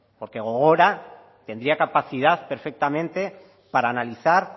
porque gogora tendría capacidad perfectamente para analizar